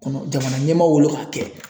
kɔnɔ jamana ɲɛmaa wolo k'a kɛ